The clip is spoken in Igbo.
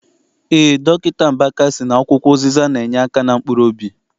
Eé, Dọkịta Mbaka sị na akwụkwọ ụzịza na- enyeaka na mkpuruobi.